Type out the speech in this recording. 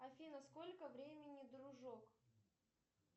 афина сколько времени дружок